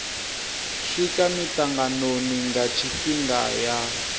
swika mitanganoni nga tshifhinga ya